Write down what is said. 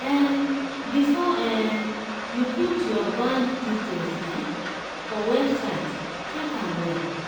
um before um you put your bank details um for website check am well.